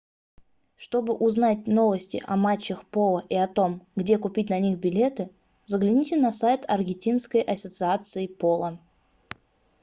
чтобы узнать новости о матчах поло и о том где купить на них билеты загляните на сайт аргентинской ассоциации поло